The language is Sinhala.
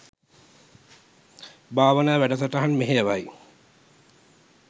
භාවනා වැඩසටහන් මෙහෙයවයි.